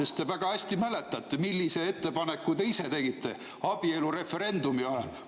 Te väga hästi mäletate, millise ettepaneku te ise tegite abielureferendumi ajal.